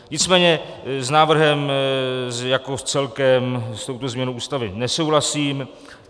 Nicméně s návrhem jako s celkem s touto změnou Ústavy nesouhlasím.